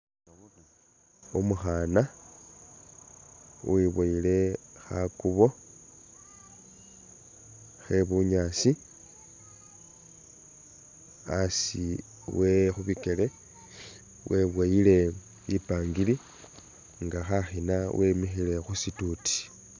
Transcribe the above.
Umukhaana uwiboyile khakubo khe bunyaasi, asi we khubikele weboyile bipangiri nga khakhina wemikhile khu situuti.